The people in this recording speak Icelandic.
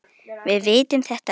Við vitum þetta öll.